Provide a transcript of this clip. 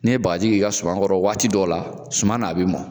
N'i ye bagaji kɛ i ka sumakɔrɔ waati dɔ la suma na a bɛ mɔn.